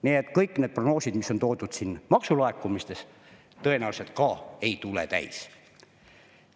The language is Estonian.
Nii et kõik need prognoosid, mis on toodud siin maksulaekumistes, tõenäoliselt ka ei tule täis.